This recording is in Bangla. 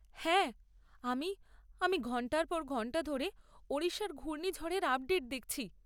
হ্যাঁ, আমি আমি ঘণ্টার পর ঘণ্টা ধরে ওড়িশার ঘূর্ণিঝড়ের আপডেট দেখছি।